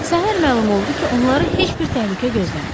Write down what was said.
Səhər məlum oldu ki, onlara heç bir təhlükə gözləmir.